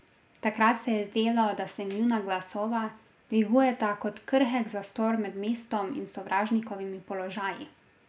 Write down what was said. Takrat se je zdelo, da se njuna glasova dvigujeta kot krhek zastor med mestom in sovražnikovimi položaji.